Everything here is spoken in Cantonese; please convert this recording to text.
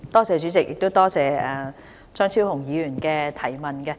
主席，多謝張超雄議員的補充質詢。